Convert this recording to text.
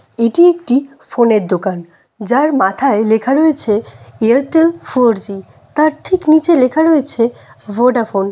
এটি একটি ফোন এর দোকান যার মাথায় লেখা রয়েছে এয়ারটেল ফোর জি তার ঠিক নীচে লেখা রয়েছে ভোডাফোন ।